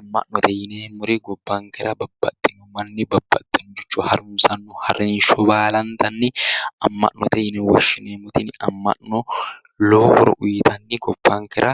Amma'note yineemmori gobbankera babbaxxeyo manni babbaxxeyore harunsanno harinsho baalantanni amma'note yine woshshineemmo tini amma'no lowo horo uyitanni gobbankera